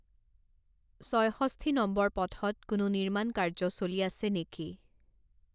ছয়ষষ্ঠি নম্বৰ পথত কোনো নিৰ্মাণকাৰ্য চলি আছে নেকি